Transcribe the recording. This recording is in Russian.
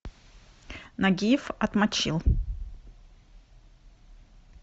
нагиев отмочил